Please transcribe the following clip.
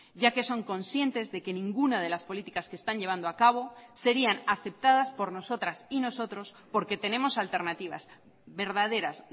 ya que son conscientes de que ninguna de las políticas que están llevando a cabo serían aceptadas por nosotras y nosotros porque tenemos alternativas verdaderas